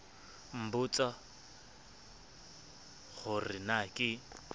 nbotsa ho re na ke